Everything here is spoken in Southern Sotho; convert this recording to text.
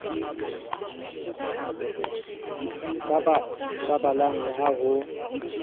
sa balang le ha ho